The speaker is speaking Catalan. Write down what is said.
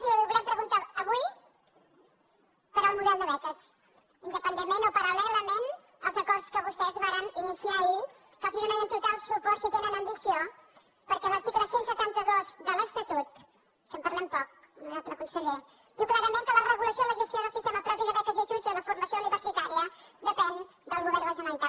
i li volem preguntar avui pel model de beques independentment o paral·lelament als acords que amb vostès varen iniciar ahir que els donarem total suport si tenen ambició perquè l’article cent i setanta dos de l’estatut que en parlem poc honorable conseller diu clarament que la regulació i la gestió del sistema propi de beques i ajuts a la formació universitària depèn del govern de la generalitat